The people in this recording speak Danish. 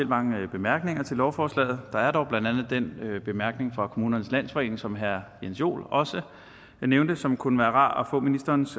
mange bemærkninger til lovforslaget der er dog blandt andet den bemærkning fra kommunernes landsforening som herre jens joel også nævnte og som kunne være rar at få ministerens